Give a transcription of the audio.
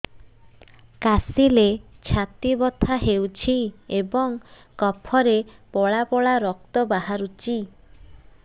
କାଶିଲେ ଛାତି ବଥା ହେଉଛି ଏବଂ କଫରେ ପଳା ପଳା ରକ୍ତ ବାହାରୁଚି